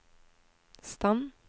stand